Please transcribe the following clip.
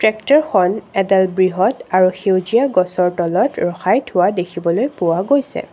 ট্ৰেক্টৰখন এডাল বৃহৎ আৰু সেউজীয়া গছৰ তলত ৰখাই থোৱা দেখিবলৈ পোৱা গৈছে।